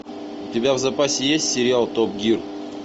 у тебя в запасе есть сериал топ гир